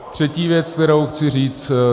Třetí věc, kterou chci říct.